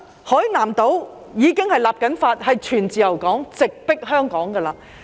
海南島正在立法，要成為全自由港，直迫香港。